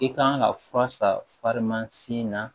I kan ka fura san na